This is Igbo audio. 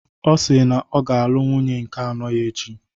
Ọ si na ọ ga-alụ nwunye nke anọ ya echi.